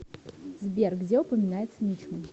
сбер где упоминается мичман